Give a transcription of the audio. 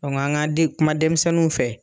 an kan den kuma denmisɛnninw fɛ.